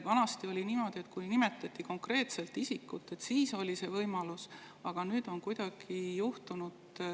Vanasti oli niimoodi, et see võimalus oli siis, kui nimetati konkreetset isikut.